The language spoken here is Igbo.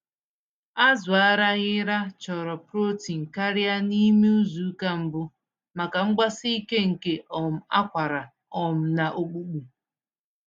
Azụ Araghịra chọrọ protein karịa n'ime izuka mbụ, maka mgbsike nke um akwara um na ọkpụkpụ.